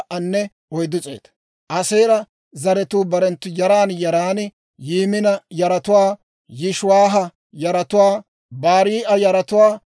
Aaseera zaratuu barenttu yaran yaran: Yimina yaratuwaa, Yishiwaaha yaratuwaa, Barii'a yaratuwaa,